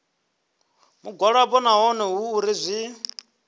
mugwalabo naho hu uri zwi